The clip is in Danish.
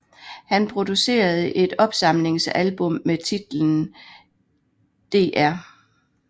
Han producerede et opsamlingsalbum med titlen Dr